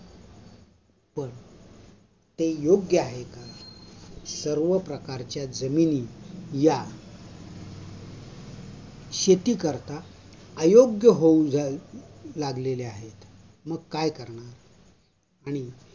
ते योग्य आहे का? सर्व प्रकारच्या जमिनी या अयोग्य होऊन जाऊ लागलेल्या आहेत. मग काय करायचं? आणि